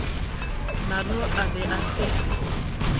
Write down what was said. nalo a be a se